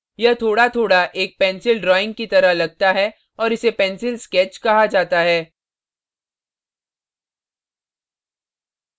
यह थोड़ाथोड़ा एक pencil drawing की तरह लगता है और इसे pencil sketch कहा जाता है